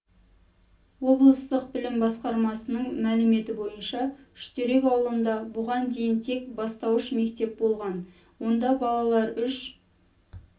облыстық білім басқармасының мәліметі бойынша үштерек ауылында бұған дейін тек бастауыш мектеп болған онда балалар үш